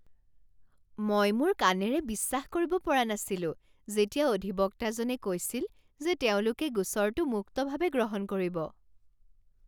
মই মোৰ কাণেৰে বিশ্বাস কৰিব পৰা নাছিলো যেতিয়া অধিবক্তাজনে কৈছিল যে তেওঁলোকে গোচৰটো মুক্তভাৱে গ্ৰহণ কৰিব।